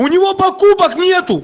у него покупок нету